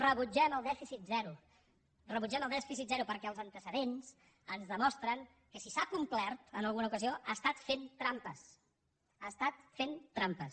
rebutgem el dèficit zero rebutgem el dèficit zero perquè els antecedents ens demostren que si s’ha complert en alguna ocasió ha estat fent trampes ha estat fent trampes